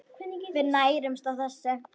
Við nærumst á þessu.